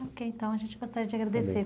Ok, então a gente gostaria de agradecer.